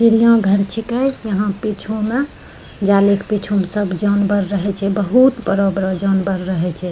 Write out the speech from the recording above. चिड़ियाघर छेके यहाँ पीछु म जाली क पीछू म सब जानवर रहे छे बहुत बड़ो-बड़ो जानवर रहे छे।